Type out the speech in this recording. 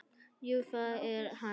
Jú, það er hann.